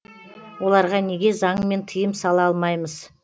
оларға неге заңмен тыйым сала алмаймыз